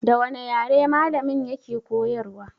Da wane yare malamin ya ke koyarwa?